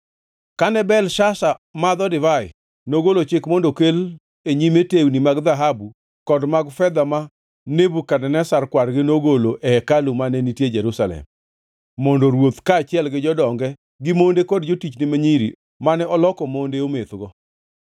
Kane Belshazar madho divai, nogolo chik mondo okel e nyime tewni mag dhahabu kod mag fedha ma Nebukadneza kwargi nogolo e hekalu mane nitie Jerusalem, mondo ruoth kaachiel gi jodonge gi monde kod jotichne ma nyiri mane oloko monde omethgo.